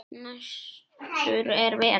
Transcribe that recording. Næstur er Vetur.